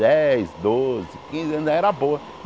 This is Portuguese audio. Dez, doze, quinze, era boa.